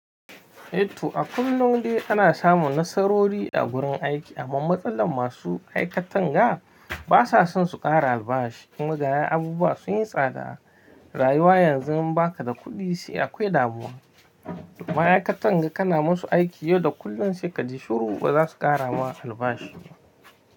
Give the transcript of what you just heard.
Eh toh a kullum dai ana samun nasarori a gurin aiki, amma matsalar masu aikatan ga basa son su kara albashi. Kuma gaya abubuwa sun yi tsada, rayuwa yanzu ba ka da kuɗi sai akwai ɗamuwa. Ma'aikatan ga kana musu aiki yau da kullun sai ka ji shuru ba za su kara ma albashi.